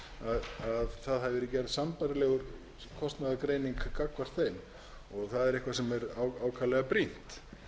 að gerð hafi verið sambærileg kostnaðargreining gagnvart þeim og það er eitthvað sem r ákaflega brýnt